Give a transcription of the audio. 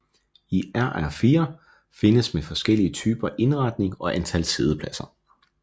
IR4 findes med forskellige typer indretning og antal siddepladser